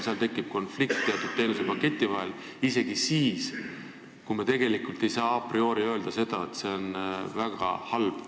Seal tekib konflikt teatud teenusepakettide vahel, isegi siis, kui me tegelikult ei saa a priori öelda seda, et see on väga halb.